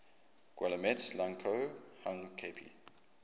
guillemets lang ko hang kp